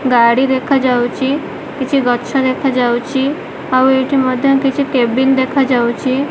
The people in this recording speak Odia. ଗାଡ଼ି ଦେଖାଯାଉଚି। କିଛି ଗଛ ଦେଖାଯାଉଚି। ଆଉ ଏଇଠି ମଧ୍ୟ କିଛି କେବିନ୍ ଦେଖାଯାଉଛି।